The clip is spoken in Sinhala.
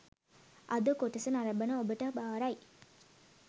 අද කොටස නරඹන ඔබට භාරයි